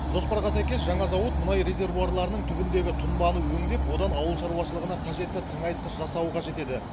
жоспарға сәйкес жаңа зауыт мұнай резервуарларының түбіндегі тұнбаны өңдеп одан ауыл шаруашылығына қажетті тыңайтқыш жасауы қажет еді